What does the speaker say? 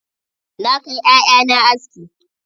Na kai 'ya'ya na aski.